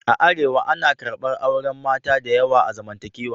A Arewa, ana karɓar auren mata da yawa a zamantakewa.